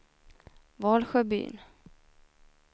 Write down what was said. Valsjöbyn